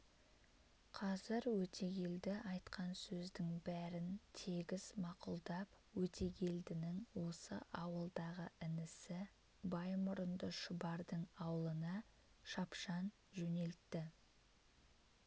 қазір өтегелді айтқан сөздің бәрін тегіс мақұлдап өтегелдінің осы ауылдағы інісі баймұрынды шұбардың аулына шапшаң жөнелтті